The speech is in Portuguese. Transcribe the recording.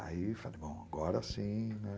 Aí falei, bom, agora sim, né?